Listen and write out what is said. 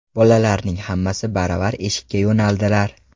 Bolalarning hammasi baravar eshikka yo‘naldilar.